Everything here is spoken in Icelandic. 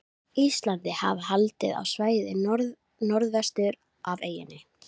Íslandi, hafa haldið á svæðið norðvestur af eyjunni.